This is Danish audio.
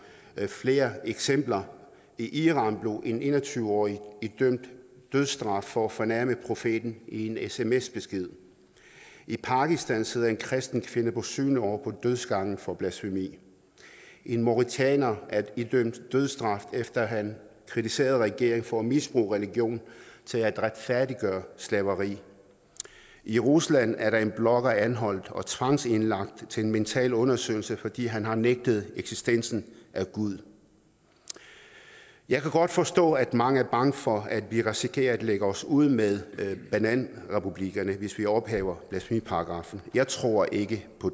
flere eksempler i iran blev en en og tyve årig idømt dødsstraf for at fornærme profeten i en sms besked i pakistan sidder en kristen kvinde på syvende år på dødsgangen for blasfemi en mauretanier er idømt dødsstraf efter han kritiserede regeringen for at misbruge religion til at retfærdiggøre slaveri i rusland er en blogger anholdt og tvangsindlagt til en mentalundersøgelse fordi han har benægtet eksistensen af gud jeg kan godt forstå at mange er bange for at vi risikerer at lægge os ud med bananrepublikkerne hvis vi ophæver blasfemiparagraffen jeg tror ikke